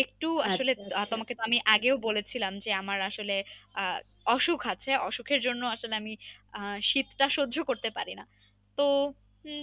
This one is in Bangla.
তোমাকে আমি আগেও বলেছিলাম যে আমার আসলে আহ অসুখ আছে অসুখের জন্য আসলে আমি আহ শীতটা সহ্য করতে পারি না তো হম